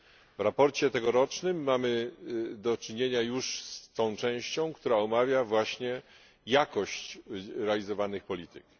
W sprawozdaniu tegorocznym mamy już do czynienia z tą częścią, która omawia właśnie jakość realizowanych polityk.